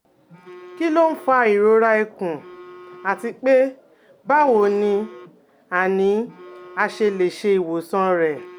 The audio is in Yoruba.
Kí ló ń fa ìrora ikùn àti pé, báwo ni a ni a ṣe lè ṣe ìwòsàn rẹ̀?